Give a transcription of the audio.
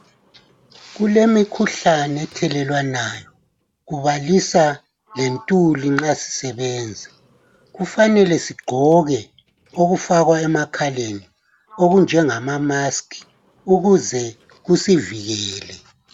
Kulemikhuhlane ethelelanwayo kubalisa lentuli nxa zisebenza. Kufanele sigqoke okufakwa emakhaleni okunjengama mask ukuze kusivikele.